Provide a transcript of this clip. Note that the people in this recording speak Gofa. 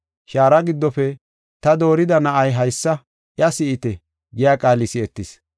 Shaara giddofe, “Ta doorida na7ay haysa iya si7ite” giya qaali si7etis.